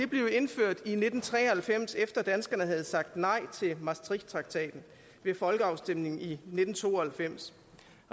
blev indført i nitten tre og halvfems efter at danskerne havde sagt nej til maastrichttraktaten ved folkeafstemningen i nitten to og halvfems